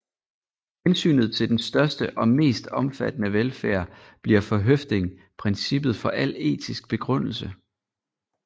Hensynet til den største og mest omfattende velfærd bliver for Høffding princippet for al etisk begrundelse